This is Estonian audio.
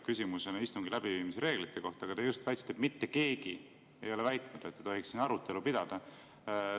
– küsimusena istungi läbiviimise reeglite kohta, aga te just väitsite, et mitte keegi ei ole väitnud, et ei tohiks siin arutelu pidada.